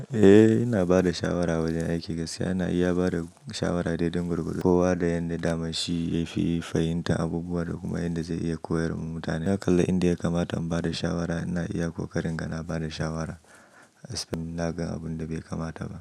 Eh, ina ba da shawara wajen aiki. Gaskiya na iya ba da shawara daidai gurguɗe, ko wa da yanda damashi ya fi fahimtar abubuwa da kuma yadda zai iya koyar wa mutane. Na kalla inda ya kamata in ba da shawara, ina iya ko karin ga na ba da shawara. As been, na gan abun da bai kamata ba.